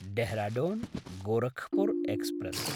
Dehradun Gorakhpur express